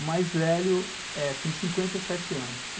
O mais velho tem cinquenta e sete anos.